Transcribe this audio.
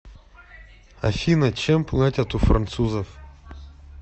афина чем платят у французов